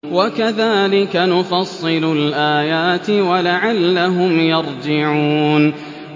وَكَذَٰلِكَ نُفَصِّلُ الْآيَاتِ وَلَعَلَّهُمْ يَرْجِعُونَ